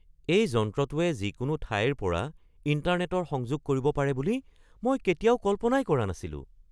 এই যন্ত্ৰটোৱে যিকোনো ঠাইৰ পৰা ইণ্টাৰনেটৰ সংযোগ কৰিব পাৰে বুলি মই কেতিয়াও কল্পনাই কৰা নাছিলো।